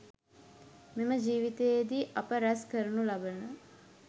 මෙම ජීවිතයේදී අප රැස් කරනු ලබන